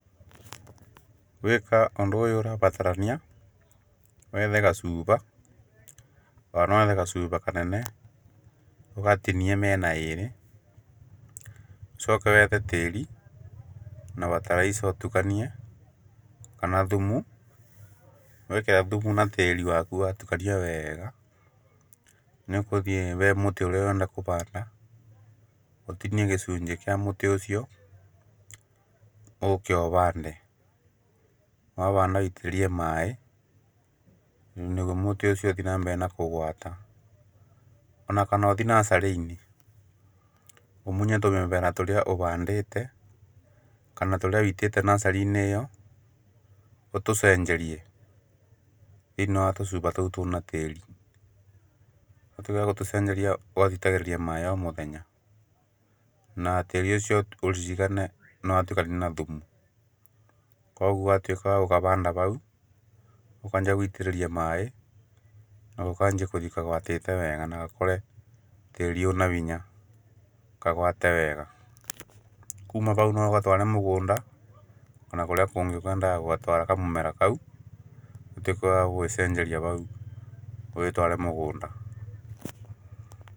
Gũĩka ũndũ ũrabatarania wethe gacuba ona nowethe gacuba kanene, ũgatinie mĩena ĩrĩ, ũcoke wethe tĩĩri na bataraitha ũtukanie ona thumu. Wekera tĩĩri waku watukania wega, nĩũgũthiĩ wethe mũtĩ ũrĩa ũrenda kũhanda, ũtinie gĩcuni gĩa mũtĩ ũcio ũke ũhande. Wahanda ũke wĩitĩrĩrie maĩ nĩguo mũtĩ ũcio ũthiĩ na mbere na kũgwata onakana ũthiĩ nacarĩ-inĩ ũmunye tũmĩmera tũrĩa ũhandĩte kana tũrĩa wĩitĩte nacarĩ-inĩ ĩo, ũtũcenjeriw thĩiniĩ wa tũcuba tũu twĩna tĩĩri, thutha wagũtũcenjeria ũgatũitagĩrĩria maĩ o mũthenya na tĩĩri ũcio ũririkane nĩwahanda na thumu kuogwo ũgatuĩka wagũgahanda hau, ũkanjia gũitĩrĩria maĩ nagakanjia kũwata wega na gakũre tĩĩri wĩna hinya kagwate wega. Kuuma hau noũgatware mũgũnda kana kũrĩa kũngĩ ũkwendaga gũgatwara kamũmera kau ũtuĩke wagũgacenjeria hau ũgatware mũgũnda.